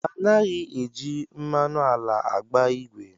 Anaghị eji mmanụ ala agba ìgwè